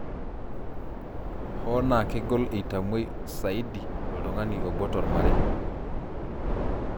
Hoo naa kegol eitamoi saidi oltungani obo tomarei.